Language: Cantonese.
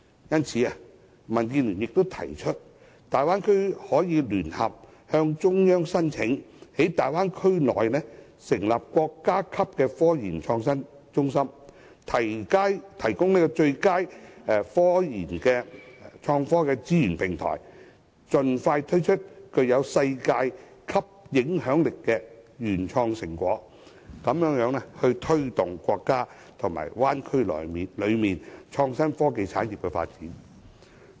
因此，民主建港協進聯盟建議，大灣區可聯合向中央申請在區內成立國家級科研創新中心，提供最佳科研及創科的資源平台，盡快推出具世界影響力的原創成果，以推動國家及大灣區內的創新科技產業的發展。